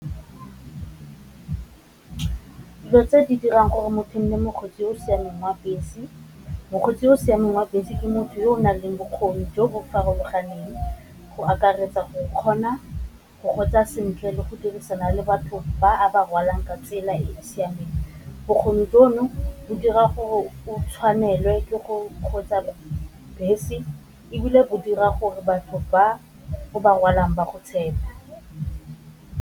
Dilo tse di dirang gore mothong e mokgweetsi o o siameng wa bese, mokgweetsi o o siameng wa bese ke motho yo o nang le bokgoni jo bo farologaneng go akaretsa o kgona go kgweetsa sentle le go dirisana le batho ba a rwalang ka tsela e e siameng, bokgoni jono bo dira gore o tshwanelwa ke go bese ebile go dira gore batho ba or ba rwalang ba go tshepe.